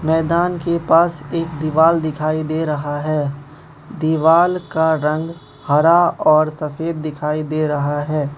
मैदान के पास एक दीवाल दिखाई दे रहा है दीवाल का रंग हरा और सफेद दिखाई दे रहा है।